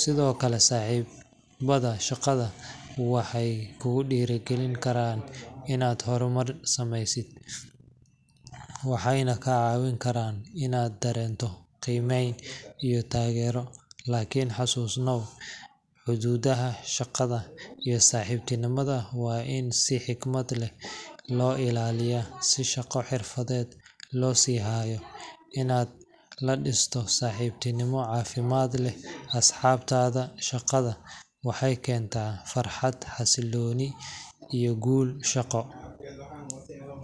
Sidoo kale, saaxiibada shaqada waxay kugu dhiirrigelin karaan inaad horumar samayso, waxayna kaa caawin karaan inaad dareento qiimeyn iyo taageero. Laakiin xusuusnow, xuduudaha shaqada iyo saaxiibtinimada waa in si xikmad leh loo ilaaliyaa, si shaqo xirfadeed loo sii hayo. Inaad la dhisto saaxiibtinimo caafimaad leh asxaabtaada shaqada waxay keentaa farxad, xasilooni, iyo guul shaqo.